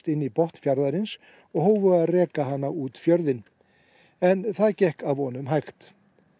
inn í botn fjarðarins og hófu að reka hana út fjörðinn en það gekk að vonum hægt